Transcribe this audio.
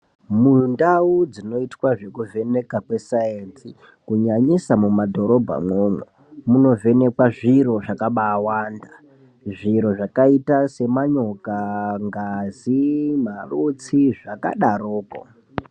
Mundau dzinoitwa zvekuvhenekwa kweesayenzi kunyanyisa mumadhorobhamwomwo munovhenekwa zviro zvakaba awanda zviro zvakaita semanyoka, ngazi, marutsi zvakadaroko.